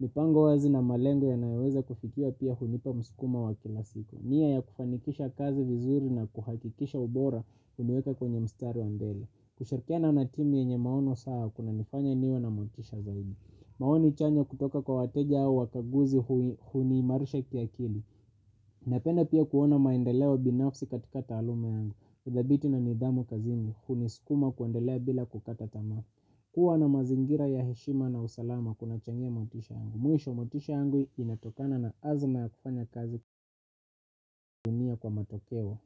mipango wazi na malengo inayoweza kufikiwa pia hunipa msukumo wa kazi kila siku nia ya kufanikisha kazi vizuri nakuhakikisha ubora huniweka kwenye mstari wa mbele kushirikiana na timu yenye maono sawa kunanifanya niwe na motisha zaidi maoni chanya kutoika kwa wateja au wakaguzi huniimarisha kiakili. Napenda pia kuona maendeleo binafsi katika taluma yangu. Udhabiti na nidhamu kazimi huni skuma kuandelea bila kukata tamafu. Kuwa na mazingira ya heshima na usalama kuna changia motisha yangu. Mwisho motisha yangu inatokana na azma ya kufanya kazi kutimia kwa matokeo.